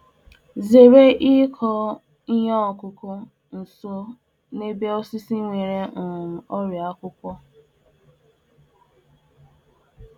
Gbochie ịkụ Ihe okụkụ na nso nso osisi nwere ọrịa akwụkwọ.